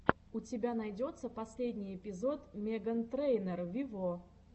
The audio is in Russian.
у тебя найдется последний эпизод меган трейнер вево